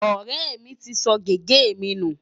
Ọ̀rẹ́ mi ti sọ gègé mi nù.